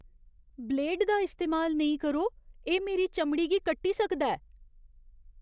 Blade दा इस्तेमाल नेईं करो। एह् मेरी चमड़ी गी कट्टी सकदा ऐ।